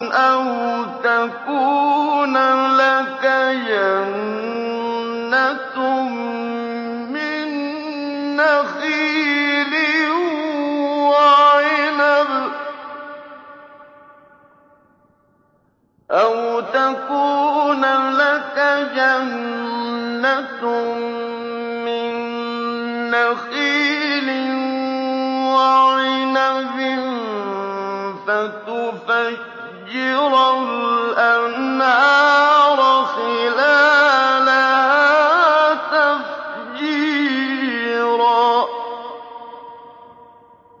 أَوْ تَكُونَ لَكَ جَنَّةٌ مِّن نَّخِيلٍ وَعِنَبٍ فَتُفَجِّرَ الْأَنْهَارَ خِلَالَهَا تَفْجِيرًا